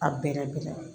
A bɛrɛ bɛrɛ